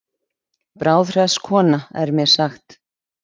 Bráðhress kona er mér sagt.